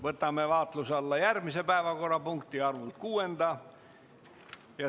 Võtame vaatluse alla järgmise, kuuenda päevakorrapunkti.